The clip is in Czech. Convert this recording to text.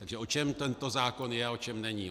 Takže o čem tento zákon je a o čem není.